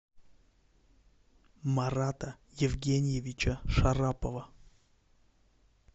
марата евгеньевича шарапова